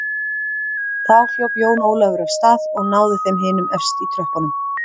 Þá hljóp Jón Ólafur af stað og náði þeim hinum efst í tröppunum.